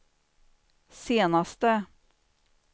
senaste